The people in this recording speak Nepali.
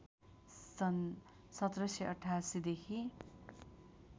सन् १७८८ देखि